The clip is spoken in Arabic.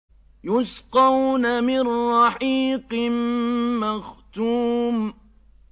يُسْقَوْنَ مِن رَّحِيقٍ مَّخْتُومٍ